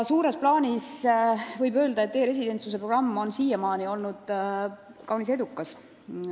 Suures plaanis võib öelda, et e-residentsuse programm on siiamaani olnud kaunis edukas.